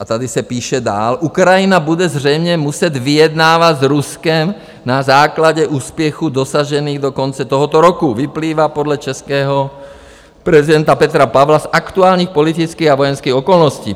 A tady se píše dál: "Ukrajina bude zřejmě muset vyjednávat s Ruskem na základě úspěchů dosažených do konce tohoto roku, vyplývá podle českého prezidenta Petra Pavla z aktuálních politických a vojenských okolností.